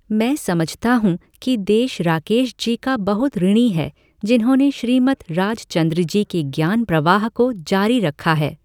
मैं समझता हूँ कि देश राकेश जी का बहुत ऋणी है जिन्होंने श्रीमद् राजचंद्रजी के ज्ञान प्रवाह को जारी रखा है।